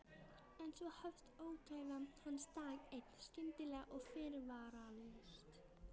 En svo hófst ógæfa hans dag einn, skyndilega og fyrirvaralaust.